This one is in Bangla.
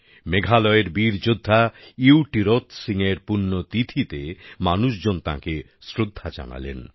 মেঘালয়ের বীর যোদ্ধা ইউ টিরোত সিংয়ের পুণ্যতিথিতে মানুষজন তাঁকে শ্রদ্ধা জানালেন